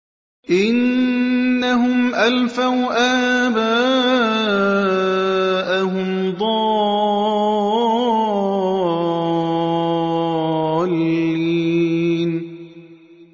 إِنَّهُمْ أَلْفَوْا آبَاءَهُمْ ضَالِّينَ